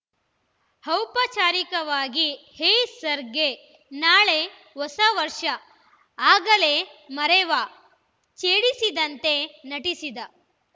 ಔಪಚಾರಿಕವಾಗಿ ಹೇ ಸರ್ಗೇ ನಾಳೆ ಹೊಸ ವರ್ಷ ಆಗಲೇ ಮರೆವಾ ಛೇಡಿಸಿದಂತೆ ನಟಿಸಿದ